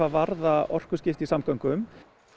varða orkuskipti í samgöngum